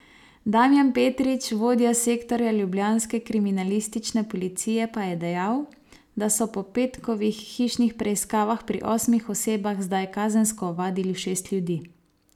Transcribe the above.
Damjan Petrič, vodja sektorja ljubljanske kriminalistične policije, pa je dejal, da so po petkovih hišnih preiskavah pri osmih osebah zdaj kazensko ovadili šest ljudi.